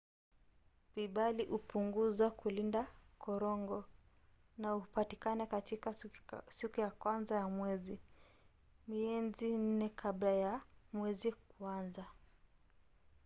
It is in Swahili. vibali hupunguzwa kulinda korongo na hupatikana katika siku ya kwanza ya mwezi mienzi nne kabla ya mwezi kuanza